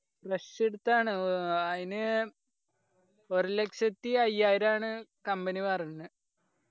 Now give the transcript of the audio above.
fresh എടുത്താണ് ആഹ് അയിന് ഒരുലക്ഷത്തി അയ്യായിരാണ് company പറഞ്ഞെ